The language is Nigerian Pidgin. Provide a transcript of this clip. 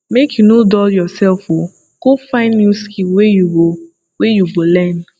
make you no dull yoursef o go find new skill wey you go wey you go learn